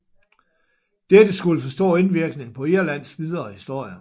Dette skulle få stor indvirkning på Irlands videre historie